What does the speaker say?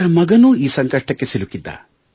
ಅವರ ಮಗನೂ ಈ ಸಂಕಷ್ಟಕ್ಕೆ ಸಿಲುಕಿದ್ದ